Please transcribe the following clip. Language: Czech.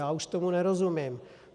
Já už tomu nerozumím.